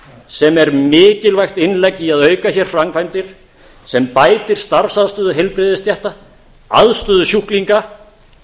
sem er mikilvægt innlegg í að auka hér framkvæmdir sem bætir starfsaðstöðu heilbrigðisstétta aðstöðu sjúklinga